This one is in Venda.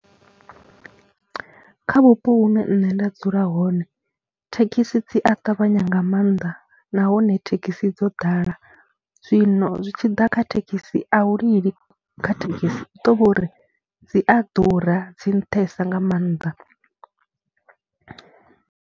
Kha vhupo hune nṋe nda dzula hone thekhisi dzi a ṱavhanya nga maanḓa nahone thekhisi dzo ḓala, zwino zwi tshi ḓa kha thekhisi a u lili, kha thekhisi u tou vha uri dzi a ḓura, dzi nṱhesa nga maanḓa.